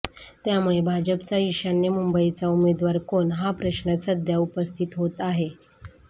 त्यामुळे भाजपचा ईशान्य मुंबईचा उमेदवार कोण या प्रश्न सध्या उपस्थित होत आहे